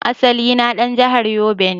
Asali na dan jahar yobe ne.